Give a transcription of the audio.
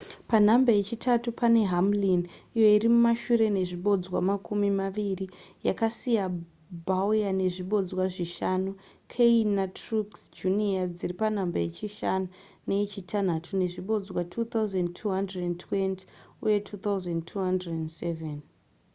panhamba yechitatu pane hamlin iyo iri mumashure nezvibodzwa makumi maviri yakasiya bowyer nezvibodzwa zvishanu kahne netruex jr dziri panhamba yechishanu neyechitanhatu nezvibodzwa 2,220 uye 2,207